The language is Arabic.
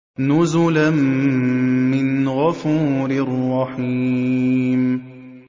نُزُلًا مِّنْ غَفُورٍ رَّحِيمٍ